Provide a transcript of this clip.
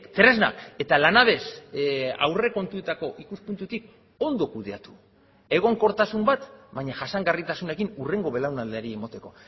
tresnak eta lanabes aurrekontuetako ikuspuntutik ondo kudeatu egonkortasun bat baina jasangarritasunekin hurrengo belaunaldiari emateko